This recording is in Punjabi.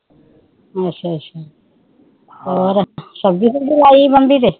ਅੱਛਾ ਅੱਛਾ ਹੋਰ ਸਬਜੀ ਸੁਬਜੀ ਬੰਬੀ ਤੇ